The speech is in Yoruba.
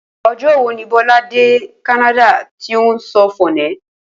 O̩jó̩ wo ni Bó̩lá dé Kánádà tó ti ń so̩ fòné̩?